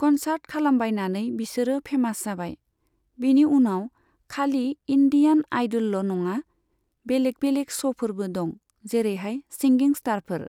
Concert खालामबायनानै बिसोरो famous जाबाय। बेनि उनाव खालि इण्डियान आइदोलल' नङा बेलेक बेलेक श'फोरबो दङ, जेरैहाय सिंगिं स्टारफोर।